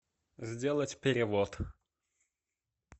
сделать перевод